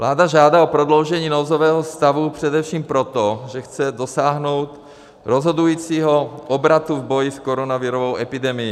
Vláda žádá o prodloužení nouzového stavu především proto, že chce dosáhnout rozhodujícího obratu v boji s koronavirovou epidemií.